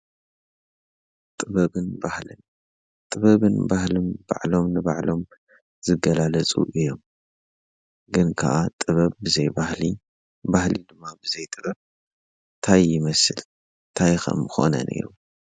ጥበብን ባህልን፡- ጥበብን ባህልን ባዕሎም ንባዕሎም ዝገላለፁ እዮም፡፡ ግን ከዓ ጥበብ ብዘይ ባህሊ፣ ባህሊ ድማ ብዘይ ጥበብ ታይ ይመስል፣ ታይ ኸ ምኾነ ነይሩ?